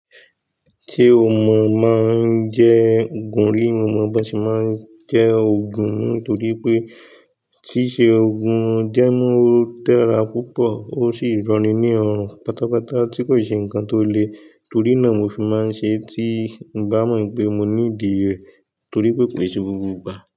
Ṣé o mọ máa ń jẹ́ òògùn rí? Mo mọ bí a ṣe máa ń jẹ òògùn, nítorí pé tíṣẹ̀ òògùn jẹ́ mọ́ tẹ́ra púpọ̀ ó sì rọni ní orún pátápátá tí kò ṣe ǹkan tó le, torí náà mo fi máa ń ṣe é tí bá mọ̀ pé mo need rẹ̀ torí pé ki n se gbogb igbà.